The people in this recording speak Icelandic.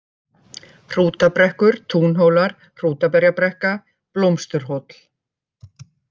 Hrútabrekkur, Túnhólar, Hrútaberjabrekka, Blómsturhóll